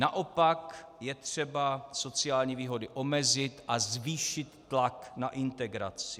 Naopak je třeba sociální výhody omezit a zvýšit tlak na integraci.